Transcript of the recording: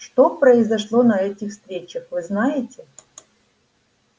что произошло на этих встречах вы знаете